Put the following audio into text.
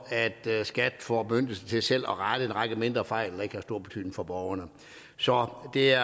skat får bemyndigelsen til selv at rette en række mindre fejl der ikke har stor betydning for borgerne så det er